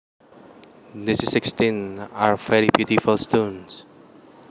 These sixteen are very beautiful stones